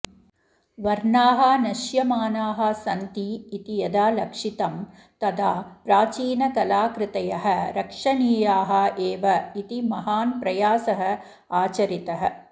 वर्णाः नशयमानाः सन्ति इति यदा लक्षितं तदा प्राचीनकलाकृतयः रक्षणीयाः एव इति महान् प्रयासः आचरितः